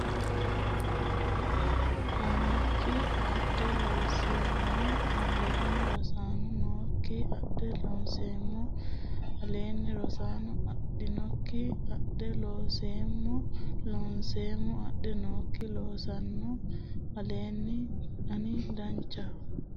annokki adh Loonseemmo aleenni Rosaano annokki adh Loonseemmo aleenni Rosaano annokki adh Loonseemmo Loonseemmo adh annokki Rosaano aleenni ani Danchaho !